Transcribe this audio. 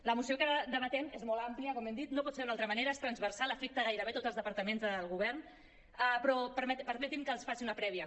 la moció que debatem és molt àmplia com hem dit no pot ser d’una altra manera és transversal afecta gairebé tots els departaments del govern però permetin me que els faci una prèvia